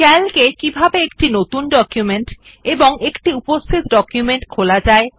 Calc এ কিভাবে একটি নতুন ডকুমেন্ট এবং একটি উপস্থিত ডকুমেন্ট খোলা যায়